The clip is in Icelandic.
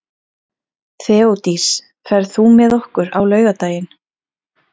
Þeódís, ferð þú með okkur á laugardaginn?